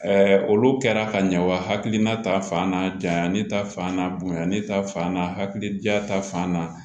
olu kɛra ka ɲa wa hakilina ta fan n'a janya ne ta fan n'a bonyana ne ta fan na hakili diya ta fan na